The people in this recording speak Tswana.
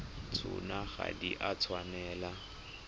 tsona ga di a tshwanela